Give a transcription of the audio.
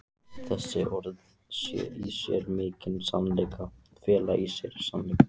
Þessi orð fela í sér mikinn sannleika.